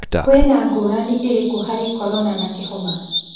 Kwina ngũrani ĩrĩkũ harĩ Korona na kĩhoma.